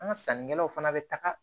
An ka sannikɛlaw fana bɛ taga